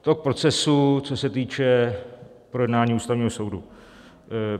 To k procesu, co se týče projednání Ústavního soudu.